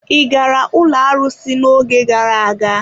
Ị gara ụlọ arụsị n'oge gara aga?